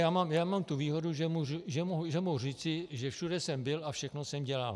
Já mám tu výhodu, že mohu říci, že všude jsem byl a všechno jsem dělal.